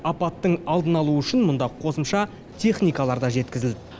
апаттың алдын алу үшін мұнда қосымша техникалар да жеткізілді